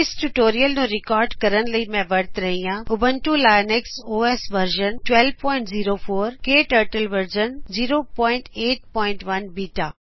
ਇਸ ਟਯੂਟੋਰਿਅਲ ਨੂੰ ਰਿਕਾਰਡ ਕਰਨ ਲਈ ਮੈਂ ਊਬੁਂਤੂੰ ਲਿਨਕਸ ਔਐਸ ਵਰਜਨ 1204ਕੇ Turtle version 081 beta Ubuntu Linux OS ਵਰਜ਼ਨ1204